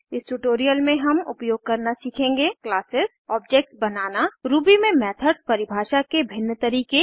इस ट्यूटोरियल में हम उपयोग करना सीखेंगे क्लासेस ऑब्जेक्ट्स बनाना रूबी में मेथड्स परिभाषा के भिन्न तरीके